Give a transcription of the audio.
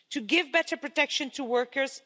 to give better protection to workers